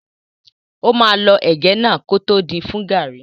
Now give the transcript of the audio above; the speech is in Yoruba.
Ó máa lọ ẹ̀gẹ́ náà kótó din fún gàrrí.